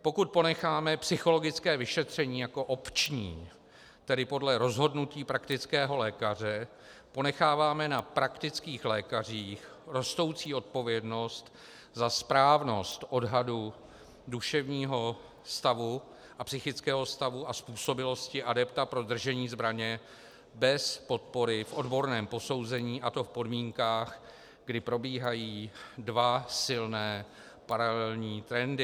Pokud ponecháme psychologické vyšetření jako opční, tedy podle rozhodnutí praktického lékaře, ponecháváme na praktických lékařích rostoucí odpovědnost za správnost odhadu duševního stavu a psychického stavu a způsobilosti adepta pro držení zbraně bez podpory v odborném posouzení, a to v podmínkách, kdy probíhají dva silné paralelní trendy.